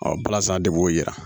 balazan de b'o yira